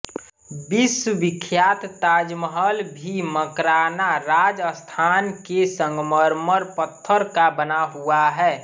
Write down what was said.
विश्वविख्यात ताजमहल भी मकराना राजस्थान के संगमरमर पत्थर का बना हुआ है